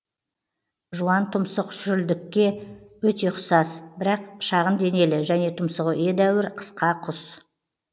жуантұмсық шүрілдікке өте ұқсас бірақ шағын денелі және тұмсығы едәуір қысқа құс